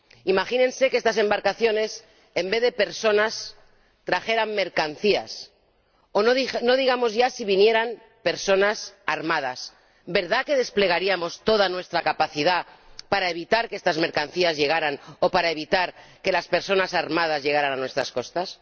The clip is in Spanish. Imagínense que estas embarcaciones en vez de personas trajeran mercancías o no digamos ya si vinieran personas armadas ¿verdad que desplegaríamos toda nuestra capacidad para evitar que estas mercancías llegaran o para evitar que las personas armadas llegaran a nuestras costas?